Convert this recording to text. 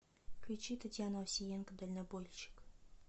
включи татьяну овсиенко дальнобойщик